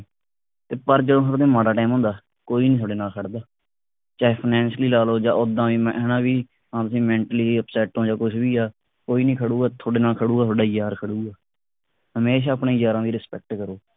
ਤੇ ਪਰ ਜਦੋਂ ਸਾਡੇ ਤੇ ਮਾੜਾ time ਹੁੰਦਾ ਕੋਈ ਨੀ ਤੁਹਾਡੇ ਨਾਲ ਖੜਦਾ ਚਾਹੇ financially ਲਾਲੋ ਜਾਂ ਉੱਦਾਂ ਵੀ ਮੈਂ ਹਣਾ ਵੀ ਭਾਵੇਂ ਤੁਸੀਂ mentally upset ਹੋ ਜਾਂ ਕੁਛ ਵੀ ਆ ਕੋਈ ਨੀ ਖੜੂਗਾ ਤੁਹਾਡੇ ਨਾਲ ਖੜੂਗਾ ਤੁਹਾਡਾ ਯਾਰ ਖੜੂਗਾ ਹਮੇਸ਼ਾ ਆਪਣੇ ਯਾਰਾ ਦੀ respect ਕਰੋ।